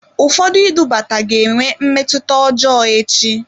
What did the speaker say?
Ụfọdụ idubata ga-enwe mmetụta ọjọọ echi.